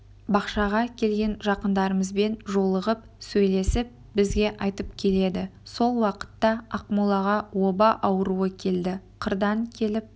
бақшаға келген жақындарымызбен жолығып сөйлесіп бізге айтып келеді сол уақытта ақмолаға оба ауруы келді қырдан келіп